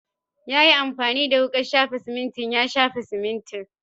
Ya yi amfani da wukan shafa siminti ya shafa siminti.